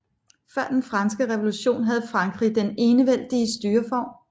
Før den franske revolution havde Frankrig den enevældige styreform